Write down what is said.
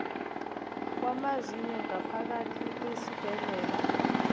wamazinyo ngaphakathi kwesibhedlela